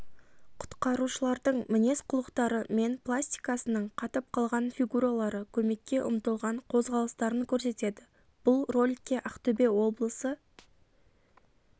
құтқарушылардың мінез-құлықтары мен пластикасының қатып қалған фигуралары көмекке ұмтылған қозғалыстарын көрсетеді бұл роликке ақтөбе облысы